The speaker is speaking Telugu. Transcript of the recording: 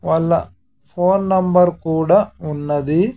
వాళ్ళ ఫోన్ నెంబర్ కూడా ఉన్నది.